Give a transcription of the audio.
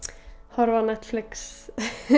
horfa á Netflix